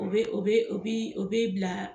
O be o be, u bi , u bi bila